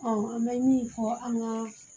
an bɛ min fɔ an ka